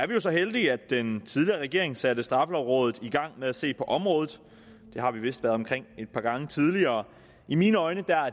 jo så heldige at den tidligere regering satte straffelovrådet i gang med at se på området det har vi vist været omkring et par gange tidligere i mine øjne er